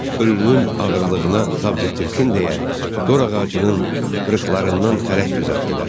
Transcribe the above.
Ölünün ağırlığına tab gətirsin deyə, dorağacının qırıqlarından xərək düzəltdilər.